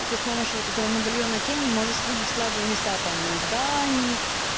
и ты с помощью вот этого медальона тени можешь видеть слабые места там у зданий